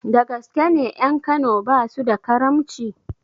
Dagaske ne ƴan kano basu da karamci?